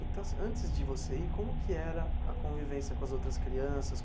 Então assim, antes de você ir, como que era a convivência com as outras crianças?